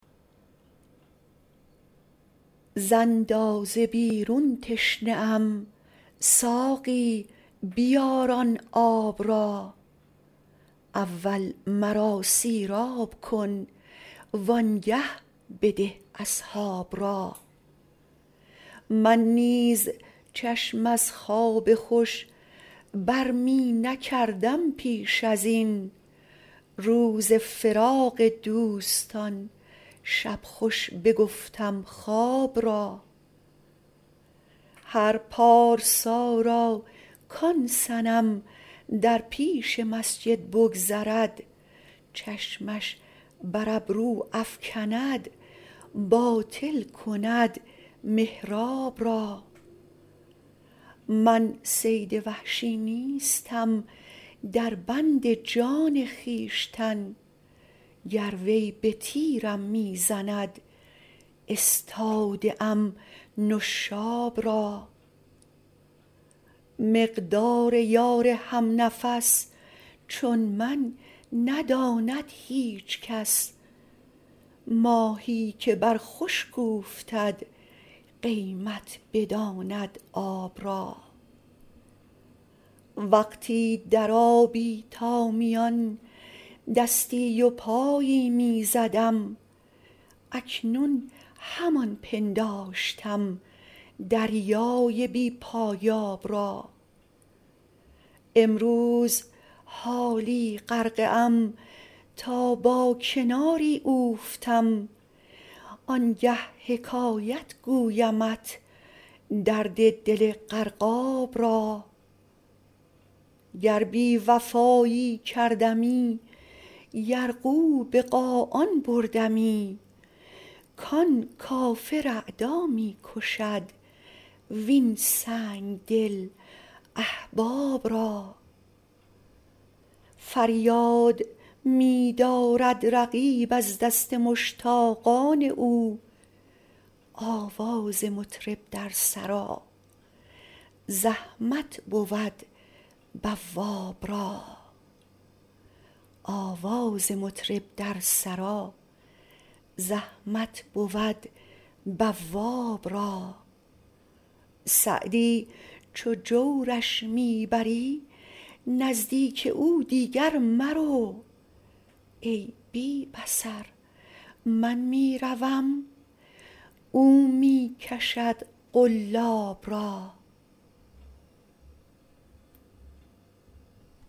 ز اندازه بیرون تشنه ام ساقی بیار آن آب را اول مرا سیراب کن وآنگه بده اصحاب را من نیز چشم از خواب خوش بر می نکردم پیش از این روز فراق دوستان شب خوش بگفتم خواب را هر پارسا را کآن صنم در پیش مسجد بگذرد چشمش بر ابرو افکند باطل کند محراب را من صید وحشی نیستم در بند جان خویشتن گر وی به تیرم می زند استاده ام نشاب را مقدار یار هم نفس چون من نداند هیچ کس ماهی که بر خشک اوفتد قیمت بداند آب را وقتی در آبی تا میان دستی و پایی می زدم اکنون همان پنداشتم دریای بی پایاب را امروز حالا غرقه ام تا با کناری اوفتم آنگه حکایت گویمت درد دل غرقاب را گر بی وفایی کردمی یرغو به قاآن بردمی کآن کافر اعدا می کشد وین سنگدل احباب را فریاد می دارد رقیب از دست مشتاقان او آواز مطرب در سرا زحمت بود بواب را سعدی چو جورش می بری نزدیک او دیگر مرو ای بی بصر من می روم او می کشد قلاب را